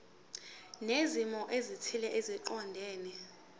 zezimo ezithile eziqondene